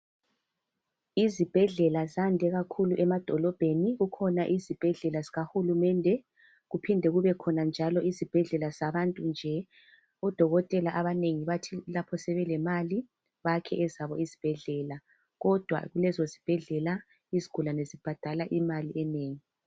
Izibhedlela zande kakhulu emadolobheni kukhona izibhedlela zikahulumende kuphinde kubekhona njalo izibhedlela zabantu nje odokotela abanengi bathi lapho sebelemali bakhe ezabo izibhedlela kodwa lezo zibhedlela izigulane zibhadala imali enengi.